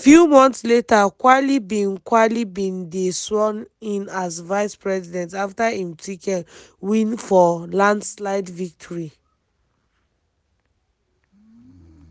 few months later quayle bin quayle bin dey sworn in as vice-president afta im ticket win for landslide victory.